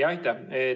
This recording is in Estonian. Aitäh!